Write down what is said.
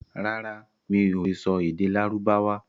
Rárá, mi ò lè sọ èdè Lárúbáwá.